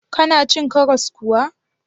Kana cin karas kuwa?